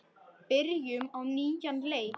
Byrjum á nýjan leik.